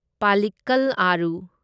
political ꯑꯥꯔꯨ